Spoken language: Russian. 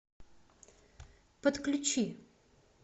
подключи